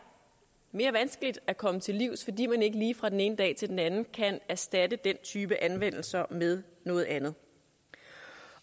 mere vanskeligt at komme til livs fordi man ikke lige fra den ene dag til den anden kan erstatte den type anvendelser med noget andet